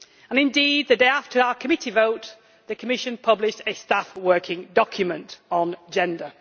Indeed, the day after our committee vote the Commission published a staff working document on gender.